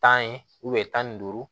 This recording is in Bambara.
Tan ye tan ni duuru